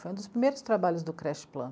Foi um dos primeiros trabalhos do Crast Plan.